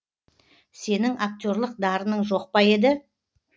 сенің актерлік дарының жоқ па еді